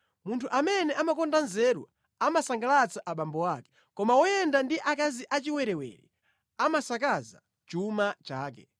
Munthu amene amakonda nzeru amasangalatsa abambo ake, koma woyenda ndi akazi achiwerewere amasakaza chuma chake.